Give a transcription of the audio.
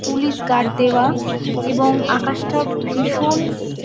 police guard দেওয়া এবং আকাশটা ভীষণ--